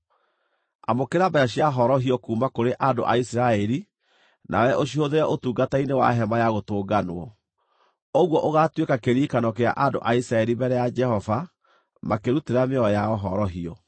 Amũkĩra mbeeca cia horohio kuuma kũrĩ andũ a Isiraeli nawe ũcihũthĩre ũtungata-inĩ wa Hema-ya-Gũtũnganwo. Ũguo ũgaatuĩka kĩririkano kĩa andũ a Isiraeli mbere ya Jehova makĩrutĩra mĩoyo yao horohio.”